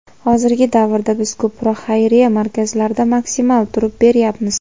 hozirgi davrda biz ko‘proq xayriya markazlarida maksimal turib beryapmiz.